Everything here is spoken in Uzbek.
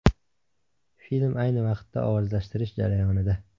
Film ayni vaqtda ovozlashtirish jarayonida.